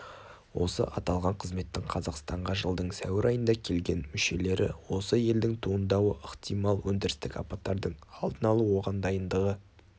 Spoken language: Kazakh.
осы аталған қызметтің қазақстанға жылдың сәуір айында келген мүшелері осы елдің туындауы ықтимал өндірістік апаттардың алдын алу оған дайындығы